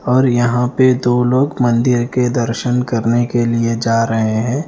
और यहाँ पे दो लोग मंदिर के दर्शन करने के लिए जा रहे हैं।